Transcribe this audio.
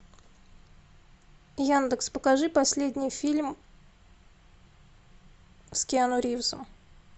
яндекс покажи последний фильм с киану ривзом